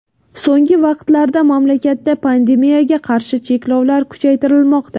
So‘nggi vaqtlarda mamlakatda pandemiyaga qarshi cheklovlar kuchaytirilmoqda.